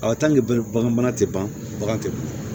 bagan mana se bange ban